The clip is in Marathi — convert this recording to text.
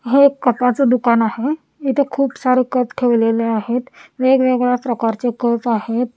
हे कपाच दुकान आहे इथे खूप सारे कप ठेवलेले आहेत वेगवेगळ्या प्रकारचे कप आहेत.